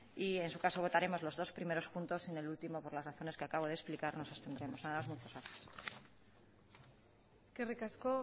y en su caso votaremos los dos primeros puntos en el último por las razones que acabo de explicar nos atendremos nada más muchas gracias eskerrik asko